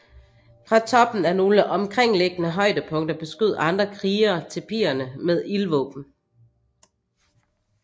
Fra toppen af nogle omkringliggende højdepunkter beskød andre krigere tipierne med ildvåben